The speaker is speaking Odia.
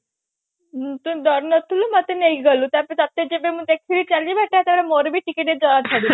ଉଁ ତୁ ଡରୁ ନଥିଲୁ ମତ ନେଇକି ଗଲୁ ତାପରେ ତତେ ଯେବେ ମୁଁ ଦେଖିଲି ଚାଲିବା ସେତେବେଳେ ମୋର ବି ଡର ଛାଡିଲା